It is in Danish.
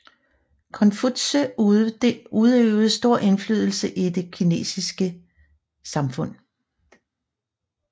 Konfutse udøvede stor indflydelse i det kinesiske samfund